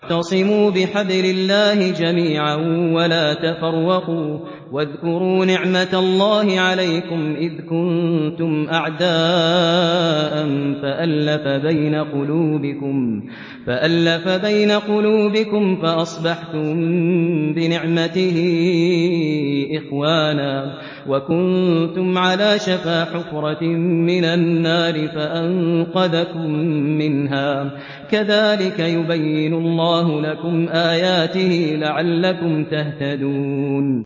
وَاعْتَصِمُوا بِحَبْلِ اللَّهِ جَمِيعًا وَلَا تَفَرَّقُوا ۚ وَاذْكُرُوا نِعْمَتَ اللَّهِ عَلَيْكُمْ إِذْ كُنتُمْ أَعْدَاءً فَأَلَّفَ بَيْنَ قُلُوبِكُمْ فَأَصْبَحْتُم بِنِعْمَتِهِ إِخْوَانًا وَكُنتُمْ عَلَىٰ شَفَا حُفْرَةٍ مِّنَ النَّارِ فَأَنقَذَكُم مِّنْهَا ۗ كَذَٰلِكَ يُبَيِّنُ اللَّهُ لَكُمْ آيَاتِهِ لَعَلَّكُمْ تَهْتَدُونَ